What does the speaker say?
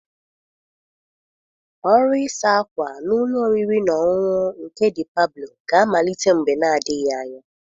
Ọrụ ịsa ákwà na ụlọ oriri n'ọṅụṅụ nke De Pabụlo ga-amalite mgbe na-adịghị anya